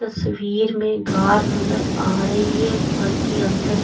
तस्वीर में घर नजर आ रही है घर के अंदर --